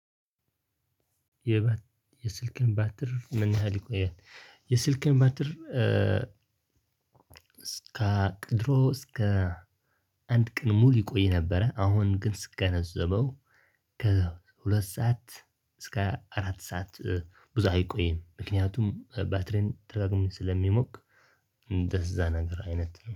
የስልክህ ባትሪ ምን ያህል ይቆያል? የስልክን ባትሪ እስከ ድሮ እስከ አንድ ቅን ሙሉ ይቆይ ነበረ አሁን ግን ስገነዘበው ከሁለት ሰዓት እስከ አራት ሰዓት ብዙ አይቆይም። ምክንያቱም ባትሪን ትራ ደጋግሞ ስለሚሞቅ እንደዛ ነገር አይነት